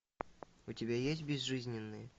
у тебя есть безжизненные